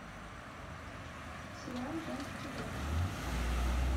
сериал женский доктор